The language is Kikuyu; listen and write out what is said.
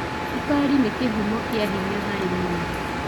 cukari nĩ kĩhumo kĩa hinya harĩ mwĩrĩ.